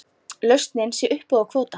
Lausnin sé uppboð á kvóta.